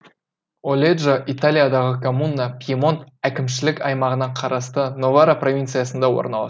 оледжо италиядағы коммуна пьемонт әкімшілік аймағына қарасты новара провинциясында орналасқан